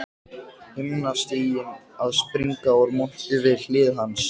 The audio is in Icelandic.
Himnastiginn að springa úr monti við hlið hans.